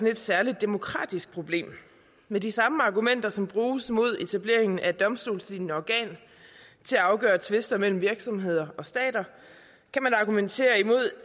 et særligt demokratisk problem med de samme argumenter som bruges mod etableringen af et domstolslignende organ til at afgøre tvister mellem virksomheder og stater kan man argumentere imod